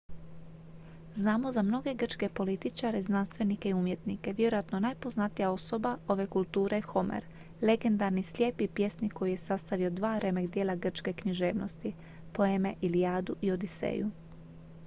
znamo za mnoge grčke političare znanstvenike i umjetnike vjerojatno najpoznatija osoba ove kulture je homer legendarni slijepi pjesnik koji je sastavio dva remek-djela grčke književnosti poeme ilijadu i odiseju